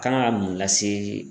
Kan ga mun lase.